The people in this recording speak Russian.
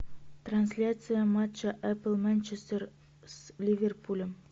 трансляция матча апл манчестер с ливерпулем